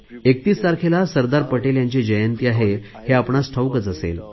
31 तारखेला सरदार पटेल यांची जयंती आहे हे आपणांस ठाऊक असेल